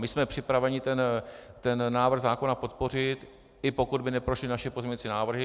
My jsme připraveni ten návrh zákona podpořit, i pokud by neprošly naše pozměňovací návrhy.